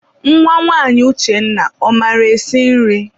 Nwa nwanyị Uchenna, ọ maara esi nri?